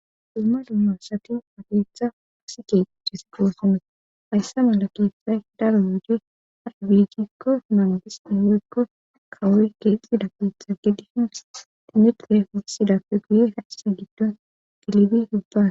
Dumma dumyoosati hageetha hasike desiqoosome haysse mala keethay daro yuje arabigikko mandis e hoykko kawoy gelxida keetha geddihin tinidte hussidappe guye haise giddon dilibi hubba.